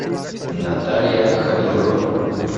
наталья халилова